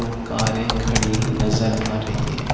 दो कारे खाड़ी नज़र आ रही है ।